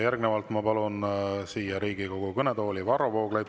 Järgnevalt ma palun siia Riigikogu kõnetooli, Varro Vooglaid.